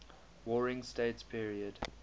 warring states period